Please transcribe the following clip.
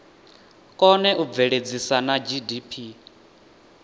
kone u bveledzisa na gdp